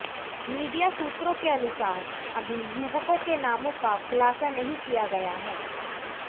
media सूत्रों के अनुसार अभी युवकों के नामों का खुलासा नहीं किया गया है